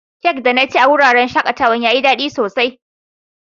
Cak da na ci a'wurin shakatawan ya yi dadi sosai.